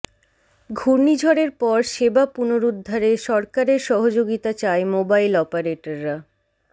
ঘূর্ণিঝড়ের পর সেবা পুনরুদ্ধারে সরকারের সহযোগিতা চায় মোবাইল অপারেটররা